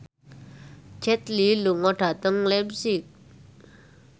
Jet Li lunga dhateng leipzig